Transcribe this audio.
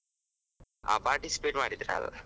ಹಾ participate ಮಾಡಿದ್ರಾ?